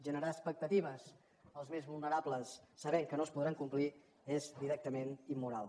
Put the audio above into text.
generar expectatives als més vulnerables sabent que no es podran complir és directament immoral